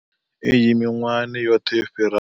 Iyi miṅwahani yoṱhe yo fhiraho.